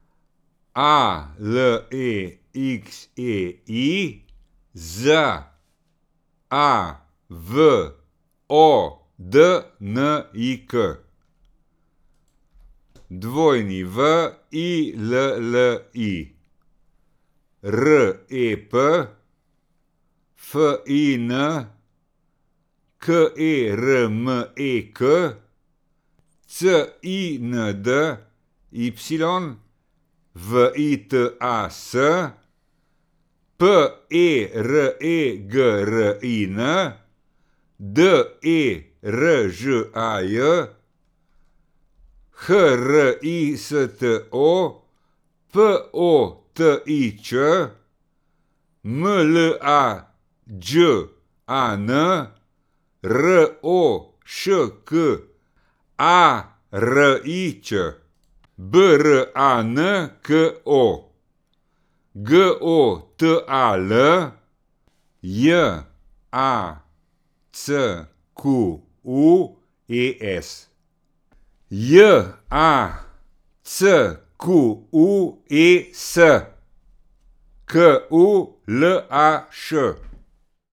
A L E X E I, Z A V O D N I K; W I L L I, R E P; F I N, K E R M E K; C I N D Y, V I T A S; P E R E G R I N, D E R Ž A J; H R I S T O, P O T I Ć; M L A Đ A N, R O Š K A R I Č; B R A N K O, G O T A L; J A C Q U E S, J A C Q U E S, K U L A Š.